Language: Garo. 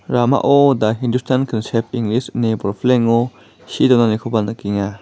ramao da hindustan kansep inglis ine bolpilengo see donanikoba nikenga.